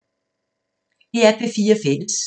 DR P4 Fælles